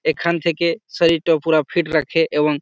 এখান থেকে শরীর টাও পুরা ফিট রাখে এবং--